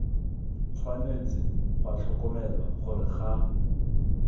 tshwanetse ga tlhokomelwa gore ga